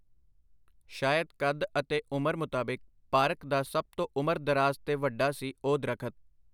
ਸ਼ਾਇਦ ਕੱਦ ਅਤੇ ਉਮਰ ਮੁਤਾਬਿਕ ਪਾਰਕ ਦਾ ਸਭ ਤੋ ਉਮਰ ਦਰਾਜ਼ ਤੇ ਵੱਡਾ ਸੀ ਓਹ ਦਰਖ਼ਤ .